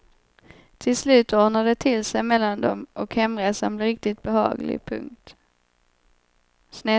Till slut ordnar det till sig mellan dem och hemresan blir riktigt behaglig. punkt